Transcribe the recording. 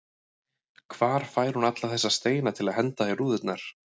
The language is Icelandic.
Hvar fær hún alla þessa steina til að henda í rúðurnar?